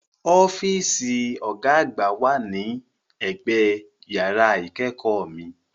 Ọ́fíìsì Ọ̀gá àgbà náà wà ní ẹ̀gbẹ yàrá ìkẹ́kọ̀ọ́ mi